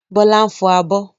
Bọ́lá ń fọ abọ́.